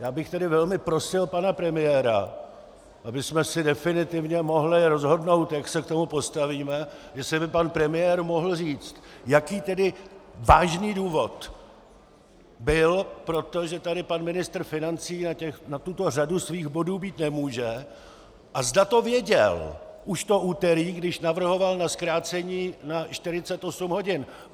Já bych tedy velmi prosil pana premiéra, abychom se definitivně mohli rozhodnout, jak se k tomu postavíme, jestli by pan premiér mohl říct, jaký tedy vážný důvod byl pro to, že tady pan ministr financí na tuto řadu svých bodů být nemůže, a zda to věděl už to úterý, když navrhoval zkrácení na 48 hodin.